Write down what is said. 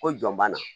Ko jɔn ban na